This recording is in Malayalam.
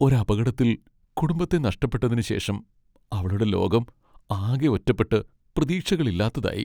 ഒരു അപകടത്തിൽ കുടുംബത്തെ നഷ്ടപ്പെട്ടതിന് ശേഷം അവളുടെ ലോകം ആകെ ഒറ്റപ്പെട്ട് പ്രതീക്ഷകളില്ലാത്തതായി.